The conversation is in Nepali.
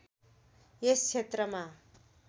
यस क्षेत्रमा